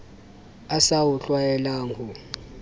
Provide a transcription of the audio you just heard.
a sa o tlwaelang ho